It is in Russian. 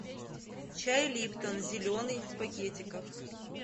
чай липтон зеленый в пакетиках